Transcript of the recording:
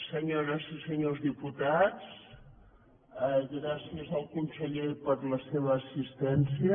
senyores i senyors diputats gràcies al conseller per la seva assistència